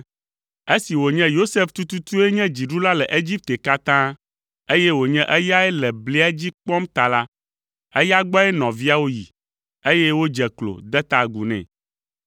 Esi wònye Yosef tututue nye dziɖula le Egipte katã, eye wònye eyae le blia dzi kpɔm ta la, eya gbɔe nɔviawo yi, eye wodze klo, de ta agu nɛ.